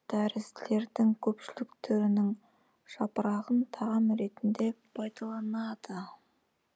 тәрізділердің көпшілік түрінің жапырағын тағам ретінде пайдаланады